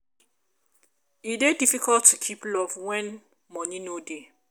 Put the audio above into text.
e dey difficult to keep love wen moni no dey.